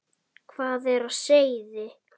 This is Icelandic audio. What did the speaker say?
Hvað er á seyði?